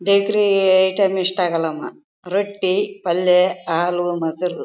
ಬೇಕ್ರಿ ಐಟಂ ಇಷ್ಟ ಆಗಲ್ಲಮ್ಮಾ ರೊಟ್ಟಿ ಪಲ್ಯ ಹಾಲು ಮೊಸರು--